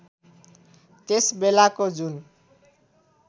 त्यस बेलाको जुन